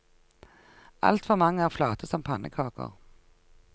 Altfor mange er flate som pannekaker.